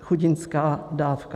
chudinská dávka.